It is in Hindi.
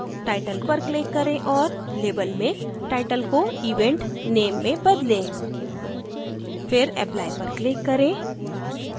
title पर click करें और label में title को event name में बदलें फिर apply पर click करें